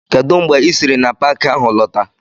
Kedụ mgbe ị sịrị n'Paakị ahụ lọta?